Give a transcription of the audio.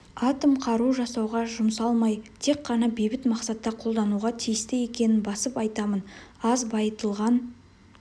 атом қару жасауға жұмсалмай тек қана бейбіт мақсатта қолдануға тиісті екенін басып айтамын аз байытылған